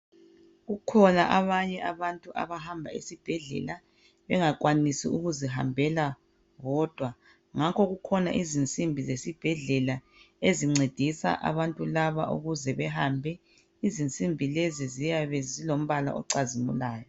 Kukhona abanye abantu abahamba esibhedlela, bengakwanisi ukuzihambela bodwa ngakho kukhona izinsimbi zesibhedlela ezincedisa abantu laba ukuze behambe, izinsimbi lezo ziyabe zilombala ocazimulayo .